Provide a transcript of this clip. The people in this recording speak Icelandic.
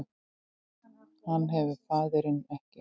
Hann hefur faðirinn ekki